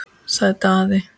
sagði Daði.